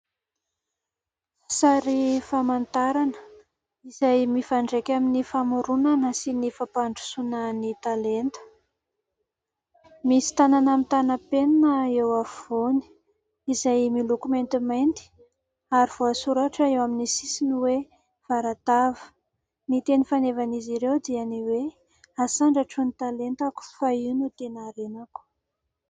Sary famantarana izay mifandraika amin'ny famoronana sy ny fampandrosoana ny talenta. Misy tanana mitàna penina eo afovoany izay miloko maintimainty ary voasoratra eo amin'ny sisiny hoe : "VARATAVA" ; ny teny fanevan'izy ireo dia ny hoe :"Hasandratro ny talentako fa io no tena harenako".